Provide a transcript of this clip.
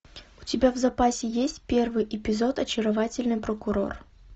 у тебя в запасе есть первый эпизод очаровательный прокурор